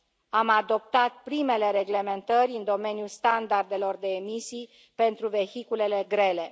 Am adoptat primele reglementări în domeniul standardelor de emisii pentru vehiculele grele.